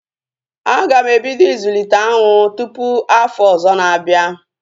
A ga m ebido ịzụlite aṅụ tụpụ afọ ọzọ na-abịa